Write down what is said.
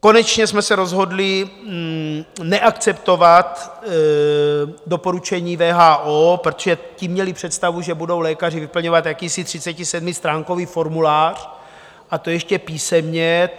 Konečně jsme se rozhodli neakceptovat doporučení WHO, protože ti měli představu, že budou lékaři vyplňovat jakýsi 37stránkový formulář, a to ještě písemně.